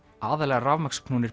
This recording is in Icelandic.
aðallega